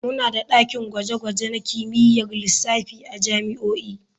Muna da dakin gwaje-gwaje na kimiyyar lissafi a jami'o'i.